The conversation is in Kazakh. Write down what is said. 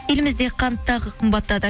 елімізде қант тағы қымбаттады